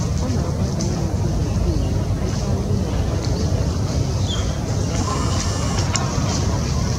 Ọ na-agbalị imezi bekee ya ebe anyị na-agbalị ịmụ Spanish. na-agbalị ịmụ Spanish.